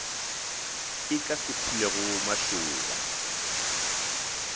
e ka se phulego mašoba